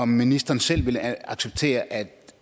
ministeren selv ville acceptere at